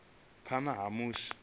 ivhadzwa zwavhui phana ha musi